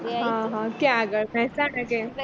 ક્યાં આગળ મેહસાણા કે